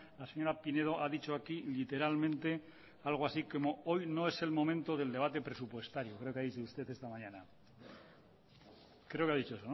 la señora pinedo ha dicho aquí literalmente algo así como hoy no es el momento del debate presupuestario creo que ha dicho usted esta mañana creo que ha dicho